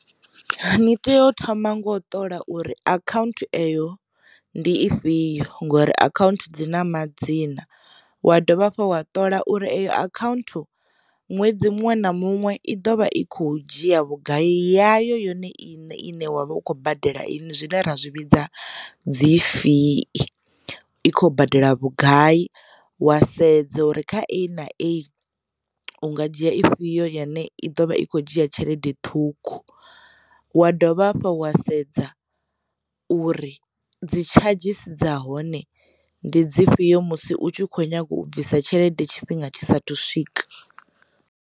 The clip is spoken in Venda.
Ni tea u thoma ngo u ṱola uri akhaunthu eyo ndi ifhio ngori akhaunthu dzi na ma dzina, wa dovha hafhu wa ṱola uri eyo akhaunthu ṅwedzi muṅwe na muṅwe i ḓovha i kho dzhia vhugai yayo yone i ne i ne wa vha u khou badela ine zwine ra zwi vhidza dzi fee, i khou badela vhugai wa sedza uri kha uif nga dzhia ifhio yone i ḓo vha i khou dzhia tshelede ṱhukhu, wa dovha hafhu wa sedza uri dzi tshadzhisi dza hone ndi dzi fhio musi u tshi kho nyaga u bvisa tshelede tshifhinga tshisa thu swika.